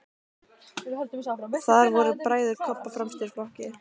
Þar voru bræður Kobba fremstir í flokki.